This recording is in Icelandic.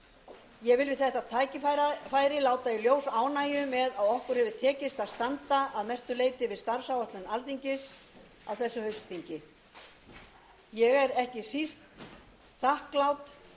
vil við þetta tækifæri láta í ljós ánægju með að okkur hefur tekist að standa að mestu leyti við starfsáætlun alþingis á þessu haustþingi ég er ekki síst þakklát fyrir